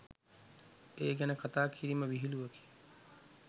ඒ ගැන කථා කිරීම විහිළුවකි